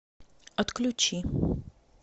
отключи